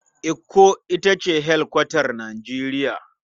Ikko da ita ce hedikwatar Nijeriya.